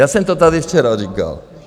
Já jsem to tady včera říkal.